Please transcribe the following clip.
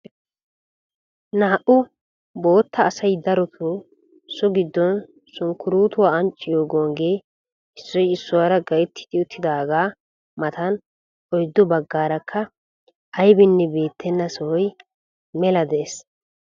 Naa"u bootta asay darotoo so giddon sunkkuruutuwa ancciyo gonggee issoy issuwara gayttidi uttidaagaa matan oyddu baggaarakka aybinne beettenna sohoy mela de'ees.